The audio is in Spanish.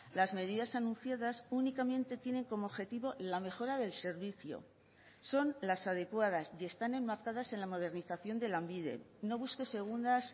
las medidas anunciadas únicamente tienen como objetivo la mejora del servicio son las adecuadas y están enmarcadas en la modernización de lanbide no busque segundas